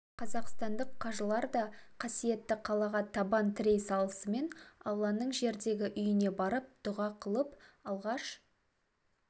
қазақстандық қажылар да қасиетті қалаға табан тірей салысымен алланың жердегі үйіне барып дұға қылып алғаш